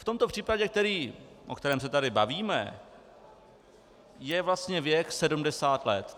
V tomto případě, o kterém se tady bavíme, je vlastně věk 70 let.